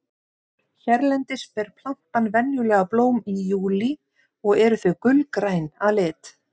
hérlendis ber plantan venjulega blóm í júlí og eru þau gulgræn að lit